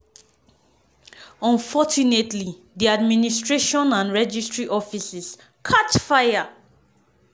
"unfortunately di administration and registry offices catch fire.